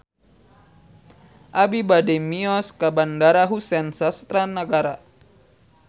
Abi bade mios ka Bandara Husein Sastra Negara